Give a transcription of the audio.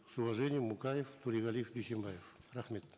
с уважением мукаев торегалиев дюйсенбаев рахмет